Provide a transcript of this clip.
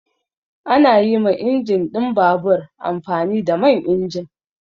Ana yi ma injin ɗin babur amfani da man injin.